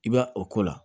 I bɛ o ko la